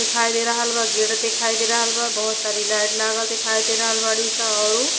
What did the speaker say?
दिखाई दे रहल बा गेट दिखाई दे रहल बा बोहोत सारी लाइट लागल दिखाई दे रहल बाड़ी सा आऊ --